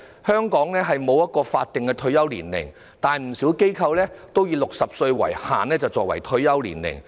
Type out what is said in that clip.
香港沒有法定退休年齡，但不少機構均以60歲作為退休年齡。